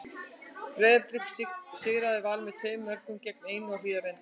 Breiðablik sigraði Val með tveimur mörkum gegn einu á Hlíðarenda.